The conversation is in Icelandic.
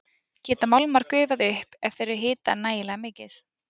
Geta málmar gufað upp ef þeir eru hitaðir nægilega mikið?